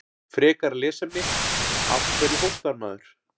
Frekara lesefni: Af hverju hóstar maður?